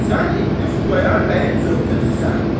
Sən indi Xudayar bəyin zövcəsisən.